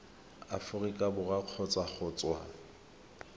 aforika borwa kgotsa go tswa